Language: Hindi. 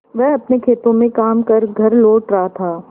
वह अपने खेतों में काम कर घर लौट रहा था